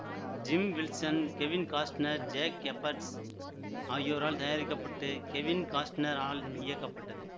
gym Wilson Kevin Costner Jake Eberts ஆகியோரால் தயாரிக்க பட்டு கெவின் காஸ்ட்னர் ஆல் இயக்கப்பட்டது